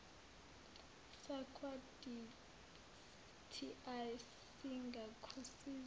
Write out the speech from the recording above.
sakwa dti singakusiza